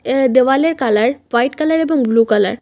এ দেওয়ালের colour white colour এবং blue colour.